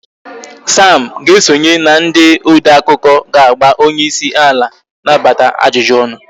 Sam ga-esonye na ndị odeakụkọ ga-agba onyeisi ala na-abata ajụjụ ọnụ